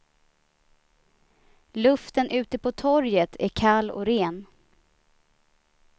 Luften ute på torget är kall och ren.